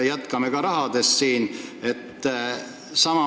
Jätkan rahateemal.